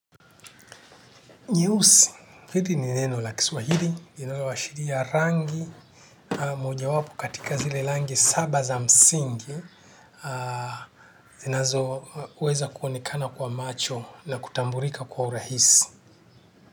Nyeusi, hili ni neno la kiswahili, linaloashiria rangi, ama mojawapo katika zile langi saba za msingi, zinazoweza kuonekana kwa macho na kutamburika kwa urahisi.